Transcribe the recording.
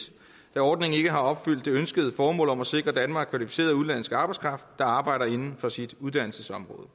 da ordningen ikke har opfyldt det ønskede formål om at sikre danmark kvalificeret udenlandsk arbejdskraft der arbejder inden for sit uddannelsesområde